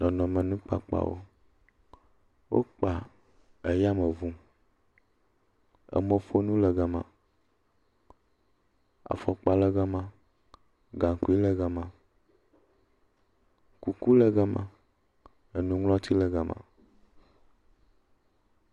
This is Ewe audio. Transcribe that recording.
Nɔnɔmenukpakpawo. Wokpa ayameŋu, emɔƒonu le ga ma. Afɔkpa le ga ma. Gaŋkui le ga ma. Kuku le ga ma, enuŋlɔti le ga ma.